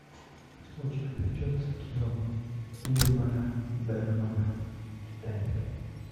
у тебя найдется кино ингмара бергмана титаник